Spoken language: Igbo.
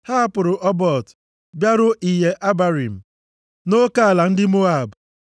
Ha hapụrụ Obot bịaruo Iye Abarim, nʼoke ala ndị Moab.